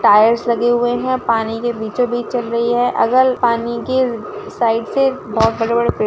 tyres लगे हुए है पानी के बिछो बीच चा रही है अगल पनि के साइड से बहुत बड़े-बड़े पेड़ --